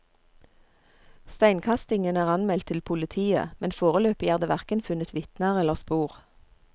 Steinkastingen er anmeldt til politiet, men foreløpig er det hverken funnet vitner eller spor.